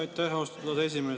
Aitäh, austatud esimees!